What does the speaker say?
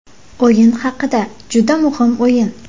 O‘yin haqida Juda ham muhim o‘yin.